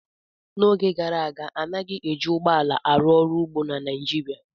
N' oge gara aga anaghị eji ụgbọ ala arụ ọrụ ugbo na Naịjirịa